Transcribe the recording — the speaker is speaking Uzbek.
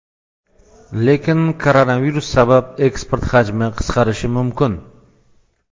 Lekin koronavirus sabab eksport hajmi qisqarishi mumkin.